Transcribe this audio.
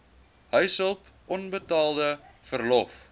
huishulp onbetaalde verlof